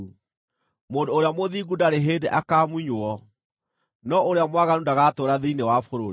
Mũndũ ũrĩa mũthingu ndarĩ hĩndĩ akaamunywo, no ũrĩa mwaganu ndagatũũra thĩinĩ wa bũrũri.